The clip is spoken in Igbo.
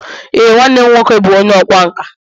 Ee, nwanne m nwoke bụ onye ọkwá nkà